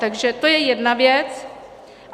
Takže to je jedna věc.